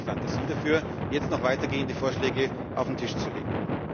Uns fehlt die Fantasie dafür, jetzt noch weitergehende Vorschläge auf den Tisch zu